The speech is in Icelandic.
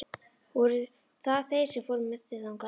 Voru það þeir sem fóru með þig þangað?